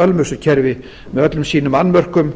ölmusukerfi með öllum sínum annmörkum